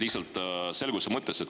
Lihtsalt selguse mõttes.